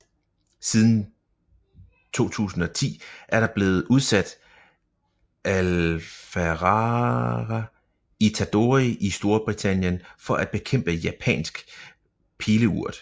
Siden 2010 er der blevet udsat Aphalara itadori i Storbritannien for at bekæmpe Japansk Pileurt